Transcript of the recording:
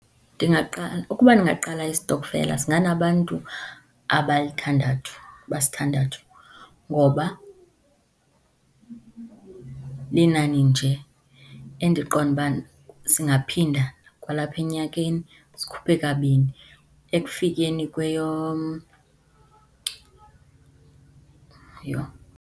Ndingaqala, ukuba ndingaqala isitokfela singanabantu abalithandathu, abasithandathu, ngoba linani nje endiqonda uba singaphinda kwalapha enyakeni sikhuphe kabini, ekufikeni , yoh.